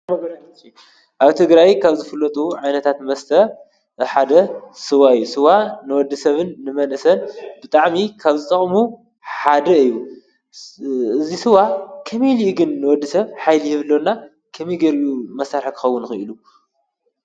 ኣብ ቲ ግራይ ካብ ዘፍሎጡ ዓይነታት መስተ ሓደ ሥዋ ይ ሥዋ ንወዲ ሰብን ንመንሰን ብጣዕሚ ካብ ዝቕሙ ሓደ እዩ ዝሥዋ ኸመይ ኢልግን ንወዲ ሰብ ኃይሊህብሎና ኸሚገርእዩ መሳርክኸውንኹ ኢሉ?